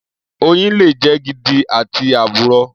Oyin le jẹ́ gidi àti àbùrọ.